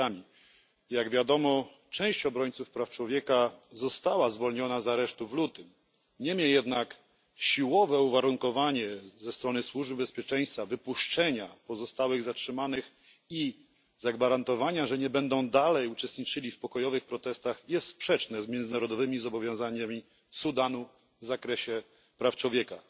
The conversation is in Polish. Jak wiadomo, część obrońców praw człowieka została zwolniona z aresztu w lutym. Jednak siłowe uwarunkowanie przez służby bezpieczeństwa wypuszczenia pozostałych zatrzymanych i zagwarantowania, że nie będą uczestniczyli w dalszych protestach pokojowych, jest sprzeczne z międzynarodowymi zobowiązaniami Sudanu w zakresie praw człowieka.